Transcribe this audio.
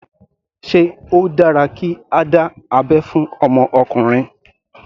Sé ó dára kí a dá abẹ́ fún ọmọ ọkùnrin.